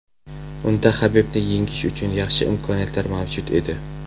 Unda Habibni yengish uchun yaxshi imkoniyatlar mavjud edi.